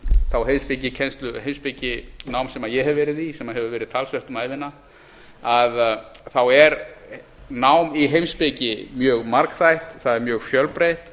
þá heimspekikennslu heimspekinám sem ég hef verið í sem hefur verið talsvert um ævina er nám í heimspeki mjög margþætt það er mjög fjölbreytt